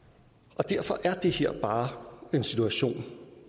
derfor er det her bare en situation